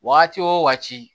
Wagati wo wagati